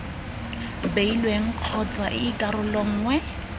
beilweng kgotsa ii karolo nngwe